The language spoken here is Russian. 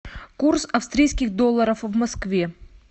курс австрийских долларов в москве